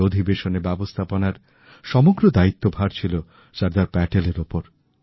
এই অধিবেশনেরব্যবস্থাপনার সমগ্র দায়িত্বভার ছিল সর্দার প্যাটেলের উপর